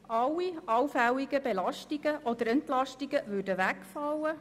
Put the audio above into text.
Alle allfälligen Belastungen oder Entlastungen würden wegfallen.